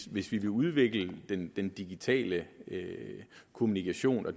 hvis vi vil udvikle den digitale kommunikation og